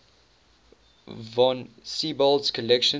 von siebold's collection